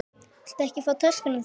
Viltu ekki fá töskuna þína?